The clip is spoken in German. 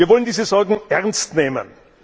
Wir wollen diese Sorgen ernst nehmen.